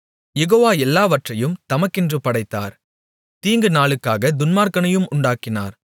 யெகோவா எல்லாவற்றையும் தமக்கென்று படைத்தார் தீங்குநாளுக்காகத் துன்மார்க்கனையும் உண்டாக்கினார்